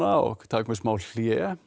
og taka mér smá hlé